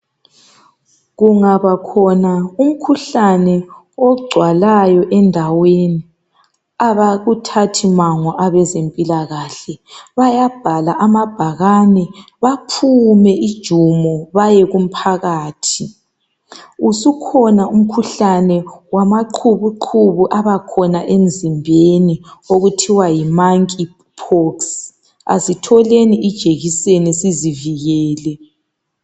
Kungabakhona umkhuhlane ogcwalayo endaweni abakuthathi mango abezempilakahle bayabhala amabhakane baphume ijumo bayekumphakathi. Usukhona umkhuhlane wamaqhubuqhubu abakhona emzimbeni okuthiwa yi monkey pox, asitholeni ijekiseni sizivikele.